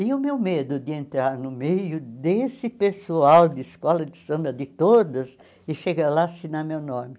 E o meu medo de entrar no meio desse pessoal de escola de samba, de todas, e chegar lá assinar meu nome.